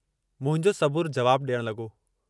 मुंहिंजो सबुरु जवाबु ॾियणु लॻो।